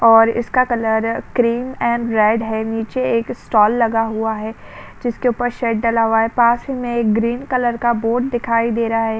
और इसका colour cream and red है नीचे एक स्टॉल लगा हुआ है जिसके ऊपर शेड डला हुआ है पास में ही एक ग्रीन कलर का बोर्ड दिखाई दे रहा है।